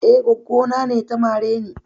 Eh, goggo na ne ta mare ni.